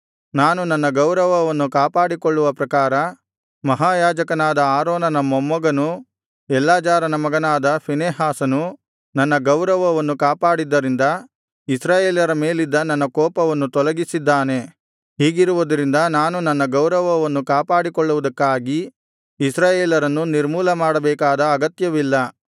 ನಾನು ನನ್ನ ಗೌರವವನ್ನು ಕಾಪಾಡಿಕೊಳ್ಳುವ ಪ್ರಕಾರ ಮಹಾಯಾಜಕನಾದ ಆರೋನನ ಮೊಮ್ಮಗನೂ ಎಲ್ಲಾಜಾರನ ಮಗನಾದ ಫೀನೆಹಾಸನು ನನ್ನ ಗೌರವವನ್ನು ಕಾಪಾಡಿದ್ದರಿಂದ ಇಸ್ರಾಯೇಲರ ಮೇಲಿದ್ದ ನನ್ನ ಕೋಪವನ್ನು ತೊಲಗಿಸಿದ್ದಾನೆ ಹೀಗಿರುವುದರಿಂದ ನಾನು ನನ್ನ ಗೌರವವನ್ನು ಕಾಪಾಡಿಕೊಳ್ಳುವುದಕ್ಕಾಗಿ ಇಸ್ರಾಯೇಲರನ್ನು ನಿರ್ಮೂಲಮಾಡಬೇಕಾದ ಅಗತ್ಯವಿಲ್ಲ